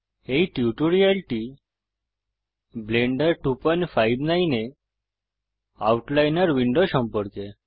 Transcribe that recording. এই টিউটোরিয়ালটি ব্লেন্ডার 259 এ আউটলাইনর উইন্ডো সম্পর্কে